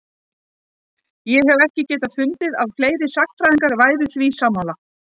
Ég hef ekki getað fundið að fleiri sagnfræðingar væru því sammála?